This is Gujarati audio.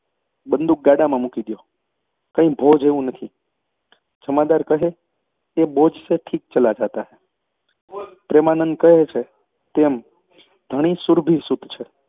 બંદૂક ગાડામાં મૂકી દયો કંઈ ભો જેવું નથી. જમાદાર કહે, એ બોજ સે ઠીક ચલા જાતા હે પ્રેમાનંદ કહે છે તેમ ધણી સુરભિસુત છે